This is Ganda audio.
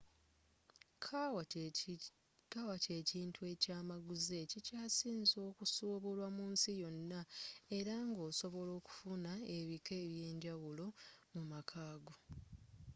kawa kye kintu ekya maguzi ekikyasinze okusubulwa mu nsi yonna era nga osobola okufuna ebika ebyenjawulo mu maka go